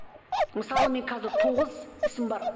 мысалы мен қазір тоғыз ісім бар